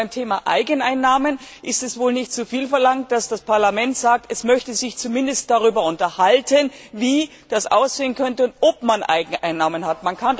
Beim Thema Eigeneinnahmen ist es wohl nicht zuviel verlangt, dass das Parlament sagt, es möchte sich zumindest darüber unterhalten, wie das aussehen könnte und ob man Eigeneinnahmen hat.